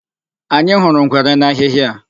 Anyị hụrụ ngwere n'ahịhị a.